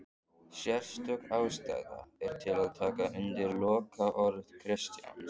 Sérstök ástæða er til að taka undir lokaorð Kristjáns